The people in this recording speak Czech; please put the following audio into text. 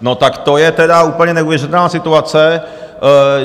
No tak to je tedy úplně neuvěřitelná situace.